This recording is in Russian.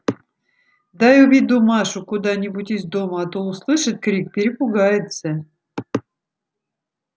дай уведу машу куда-нибудь из дому а то услышит крик перепугается